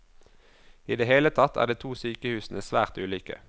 I det hele tatt er de to sykehusene svært ulike.